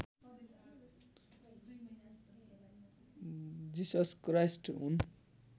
जिसस Christ हुन्